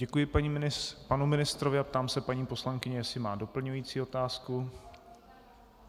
Děkuji panu ministrovi a ptám se paní poslankyně, jestli má doplňující otázku.